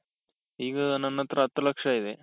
ಈಗ ನನತ್ರ ಹತ್ತು ಲಕ್ಷ ಇದೆ.